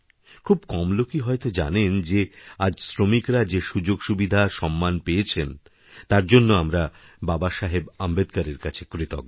খুব কম লোকই হয়ত জানেন যে আজ শ্রমিকরা যেসুযোগসুবিধা সম্মান পেয়েছেন তার জন্য আমরা বাবাসাহেব আম্বেদকরের কাছে কৃতজ্ঞ